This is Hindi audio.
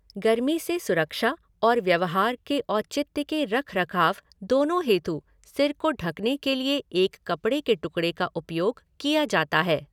गर्मी से सुरक्षा और व्यवहार के औचित्य के रखरखाव दोनों हेतु सिर को ढकने के लिए एक कपड़े के टुकड़े का उपयोग किया जाता है।